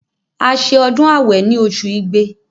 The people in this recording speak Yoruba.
A se ọdún àwẹ̀ ni osù igbe